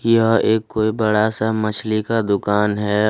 यह एक कोई बड़ा सा मछली का दुकान है।